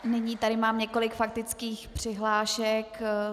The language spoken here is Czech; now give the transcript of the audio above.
Nyní tady mám několik faktických přihlášek.